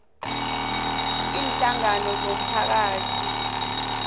iinhlangano zomphakathi namkha